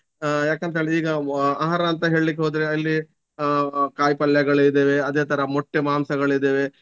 ಆಹ್ ಯಾಕಂತೇಳಿದ್ರೆ ಈಗ ಆಹಾರ ಅಂತ ಹೇಳಿಕ್ಹೋದ್ರೆ ಅಲ್ಲಿ ಆಹ್ ಕಾಯಿ ಪಲ್ಯಗಳು ಇದ್ದೇವೆ ಅದೇ ತರ ಮೊಟ್ಟೆ ಮಾಂಸಗಳಿದ್ದೇವೆ.